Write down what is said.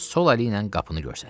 Sol əliylə qapını göstərdi.